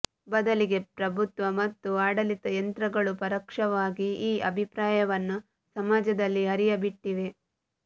ಬದಲಿಗೆ ಪ್ರಭುತ್ವ ಮತ್ತು ಆಡಳಿತ ಯಂತ್ರಗಳು ಪರೋಕ್ಷವಾಗಿ ಈ ಅಭಿಪ್ರಾಯವನ್ನು ಸಮಾಜದಲ್ಲಿ ಹರಿಯಬಿಟ್ಟಿವೆ